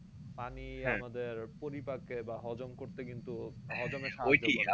পানি পরিপাকে বা হজম করতে কিন্তু হজম এ